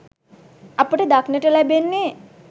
අපට දක්නට ලැබෙන්නේ